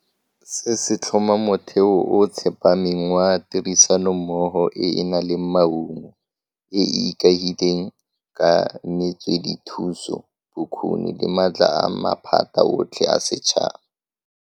Se se tlhoma motheo o o tsepameng wa tirisanommogo e e nang le maungo, e e ikaegileng ka metswedithuso, bokgoni le maatla a maphata otlhe a setšhaba.